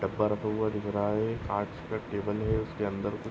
डब्बा रखा हुआ दिख रहा है। काँच का टेबल है। उसके अंदर कुछ --